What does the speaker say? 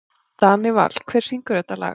Danival, hver syngur þetta lag?